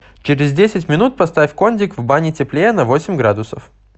через десять минут поставь кондик в бане теплее на восемь градусов